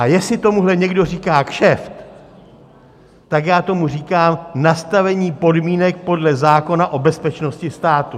A jestli tomuhle někdo říká kšeft, tak já tomu říkám nastavení podmínek podle zákona o bezpečnosti státu.